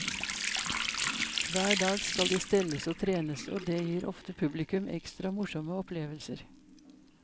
Hver dag skal de stelles og trenes, og det gir ofte publikum ekstra morsomme opplevelser.